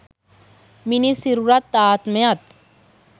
මිනිස් සිරුරත් ආත්මයත්